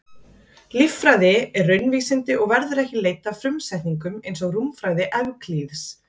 Líffræði er raunvísindi og verður ekki leidd af frumsetningum eins og rúmfræði Evklíðs.